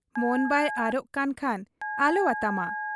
ᱢᱚᱱ ᱵᱟᱭ ᱟᱨᱚᱜ ᱠᱟᱱ ᱠᱷᱟᱱ ᱟᱞᱚᱣᱟᱛᱟᱢᱟ ᱾